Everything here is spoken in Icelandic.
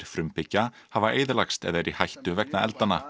frumbyggja hafa eyðilagst eða eru í hættu vegna eldanna